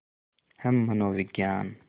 हम मनोविज्ञान